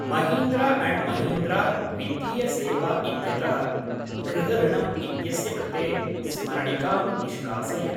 Mahindra and Mahindra वित्तीय सेवा इत्यतः गृहऋणम् इत्यस्य कृते स्मरणिकां निष्कासय।।